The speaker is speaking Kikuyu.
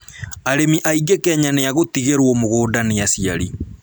Arĩmi aingĩ Kenya nĩ a gũtigĩrwo mũgũnga nĩ aciari